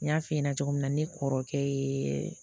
N y'a f'i ɲɛna cogo min na ne kɔrɔkɛ yee